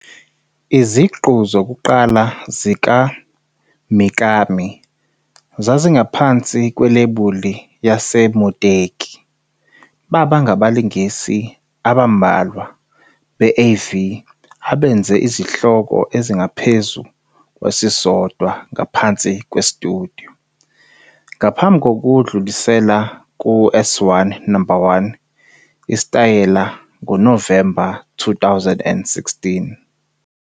Iziqu zokuqala zikaMikami zazingaphansi kwelebuli yaseMuteki, baba ngabalingisi abambalwa be-AV abenze izihloko ezingaphezu kwesisodwa ngaphansi kwesitudiyo, ngaphambi kokudlulisela ku-S1 No. 1 Isitayela ngoNovemba 2016.